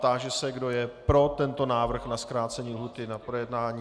Táži se, kdo je pro tento návrh na zkrácení lhůty na projednání.